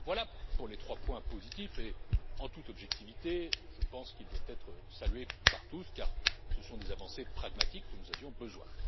Voilà pour les trois points positifs et, en toute objectivité, je pense qu'ils doivent être salués par tous, car ce sont des avancées pragmatiques, dont nous avions besoin.